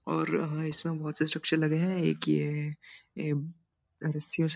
और हाँ इसमें बहुत से स्ट्रक्चर लगे हैं एक ये है ए रसियों से --